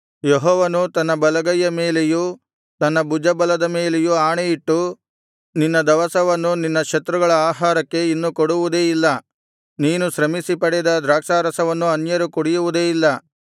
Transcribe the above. ಯೆಹೋವನು ತನ್ನ ಬಲಗೈಯ ಮೇಲೆಯೂ ತನ್ನ ಭುಜಬಲದ ಮೇಲೆಯೂ ಆಣೆಯಿಟ್ಟು ನಿನ್ನ ದವಸವನ್ನು ನಿನ್ನ ಶತ್ರುಗಳ ಆಹಾರಕ್ಕೆ ಇನ್ನು ಕೊಡುವುದೇ ಇಲ್ಲ ನೀನು ಶ್ರಮಿಸಿ ಪಡೆದು ದ್ರಾಕ್ಷಾರಸವನ್ನು ಅನ್ಯರು ಕುಡಿಯುವುದೇ ಇಲ್ಲ